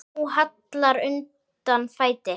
Nú hallar undan fæti.